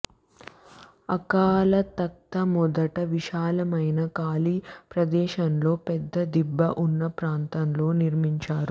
అకాల్ తఖ్త్ మొదట విశాలమైన ఖాళీ ప్రదేశంలో పెద్ద దిబ్బ ఉన్న ప్రాంతంలో నిర్మించారు